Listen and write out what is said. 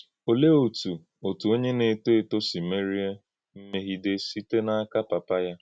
Ọ̀lee otú òtù onye na-etò ètò sị meríè mmèghidé sīte n’aka pàpà ya?